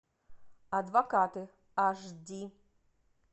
адвокаты аш ди